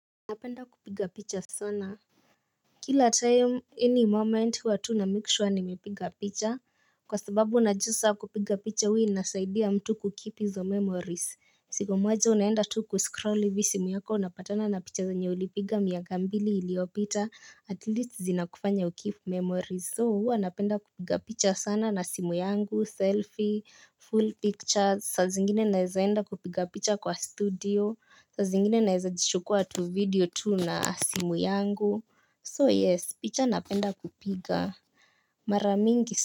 Napenda kupiga picha sana. Kila time any moment huwa tu na make sure nimepiga picha. Kwa sababu unajua sa kupiga picha hua inasaidia mtu kukeep izo memories. Siku moja unaenda tu kuscrol ivi simu yako unapatana na picha zenye ulipiga miaka mbili iliopita. At least zina kufanya ukipeep memories. So huwa napenda kupiga picha sana na simu yangu, selfie, full picture. Sazingine naezaenda kupiga picha kwa studio. Sazingine naeza jichukua tu video tu na simu yangu. So yes, picha napenda kupiga. Maramingi.